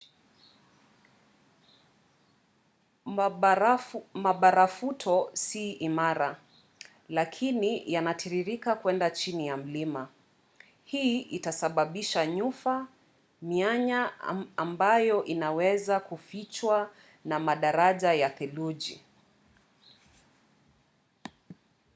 mabarafuto si imara lakini yanatiririka kuenda chini ya mlima. hii itasababisha nyufa mianya ambayo inaweza kufichwa na madaraja ya theluji